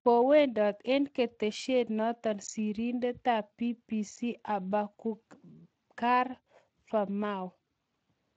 Kowendat eng' keteshet notok sirindetap BBC,Aboubakar Famau